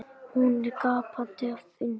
Hún er gapandi af undrun.